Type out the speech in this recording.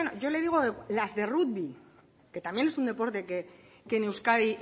yo le digo las de rugby que también es un deporte que en euskadi